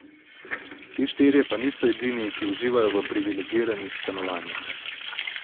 Ti štirje pa niso edini, ki uživajo v privilegiranih stanovanjih.